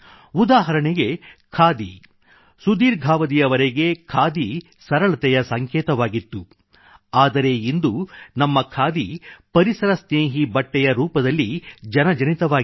ಉದಾಹರಣೆಗೆ ಖಾದಿ ಸುದೀರ್ಘಾವಧಿವರೆಗೆ ಖಾದಿ ಸರಳತೆಯ ಸಂಕೇತವಾಗಿತ್ತು ಆದರೆ ಇಂದು ನಮ್ಮ ಖಾದಿ ಪರಿಸರ ಸ್ನೇಹಿ ಬಟ್ಟೆಯ ರೂಪದಲ್ಲಿ ಜನಜನಿತವಾಗಿದೆ